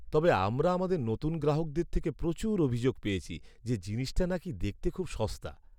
তবে, আমরা আমাদের নতুন গ্রাহকদের থেকে প্রচুর অভিযোগ পেয়েছি যে জিনিসটা নাকি দেখতে খুব সস্তা।